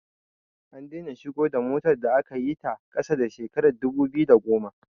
An daina shigo da motar da aka yi ta ƙasa da shekarar 2010